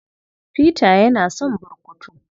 Peter yana son burkutu.